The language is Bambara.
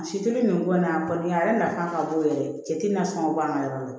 Si te nin bɔ n na a kɔni a yɛrɛ nafa ka bon yɛrɛ de cɛ te na sɔn ka bɔ an ka yɔrɔ la